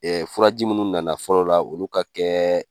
furaji munnu na na fɔlɔ la olu ka kɛ